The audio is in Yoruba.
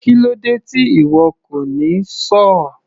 Kílódé tí ìwo kò ní sọ́ọ̀?